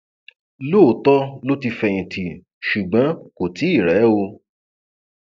lóòótọ ló ti fẹyìntì ṣùgbọn kò tí ì rẹ ọ